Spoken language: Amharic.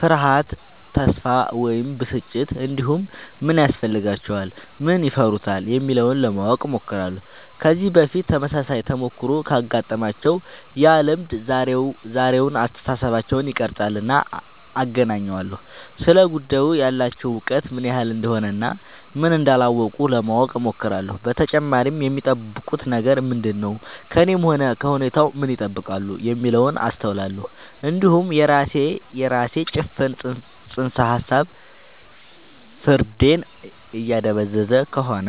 ፍርሃት ተስፋ ወይም ብስጭት እንዲሁም ምን ያስፈልጋቸዋል ምን ይፈሩታል የሚለውን ለማወቅ እሞክራለሁ ከዚህ በፊት ተመሳሳይ ተሞክሮ ካጋጠማቸው ያ ልምድ ዛሬውን አስተሳሰባቸውን ይቀርፃልና አገናኘዋለሁ ስለ ጉዳዩ ያላቸው እውቀት ምን ያህል እንደሆነ እና ምን እንዳላወቁ ለማወቅ እሞክራለሁ በተጨማሪም የሚጠብቁት ነገር ምንድነው ከእኔም ሆነ ከሁኔታው ምን ይጠብቃሉ የሚለውን አስተውላለሁ እንዲሁም የራሴ ጭፍን ጽንሰ ሀሳብ ፍርዴን እያደበዘዘ ከሆነ